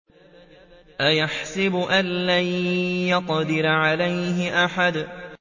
أَيَحْسَبُ أَن لَّن يَقْدِرَ عَلَيْهِ أَحَدٌ